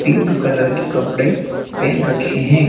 Pink colour की कपड़े pen रखे है।